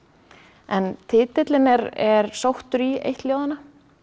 en titillinn er er sóttur í eitt ljóðanna